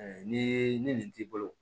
ni nin t'i bolo